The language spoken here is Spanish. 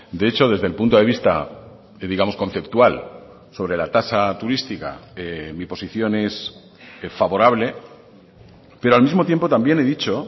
de hecho desde el punto de vista digamos conceptual sobre la tasa turística mi posición es favorable pero al mismo tiempo también he dicho